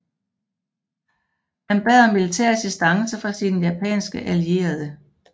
Han bad om militær assistance fra sine japanske allierede